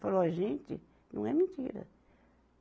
Falo, ó gente, não é mentira.